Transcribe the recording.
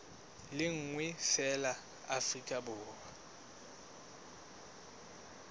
le nngwe feela afrika borwa